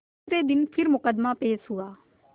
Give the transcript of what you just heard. दूसरे दिन फिर मुकदमा पेश हुआ